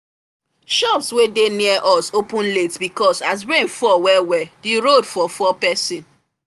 shops wey dey near us open late because as rainfall well well the road for fall person